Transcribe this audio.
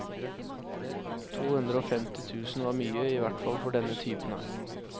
To hundre og femti tusen var mye, i hvert fall for denne typen her.